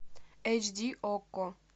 эйч ди окко